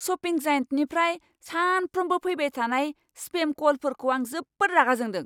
Shopping जायेन्टनिफ्राय सानफ्रोमबो फैबाय थानाय स्पेम क'लफोरखौ आं जोबोद रागा जोंदों।